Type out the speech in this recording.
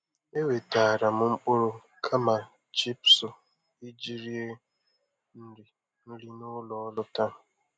E wetara m mkpụrụ kama chipsu iji rie nri nri n'ụlọ ọrụ taa.